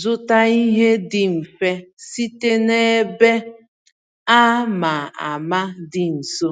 zụta ihe dị mfe site na ebe a ma ama dị nso.